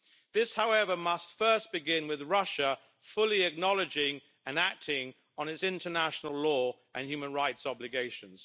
This, however, must first begin with Russia fully acknowledging and acting on its international law and human rights obligations.